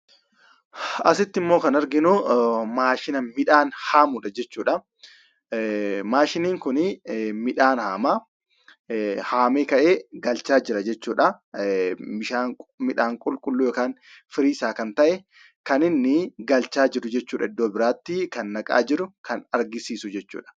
Asitti ammoo kan arginu maashina midhaan haamu jechuudha. Maashiniin kun midhaan haama. Haamee ka'ee galchaa jira jechuudha. Midhaan qulqulluu yookaan firii isaa kan ta'e kan inni galchaa jiru jechuudha iddo biraatti kan naqaa jiru kan agarsiisu jechuudha.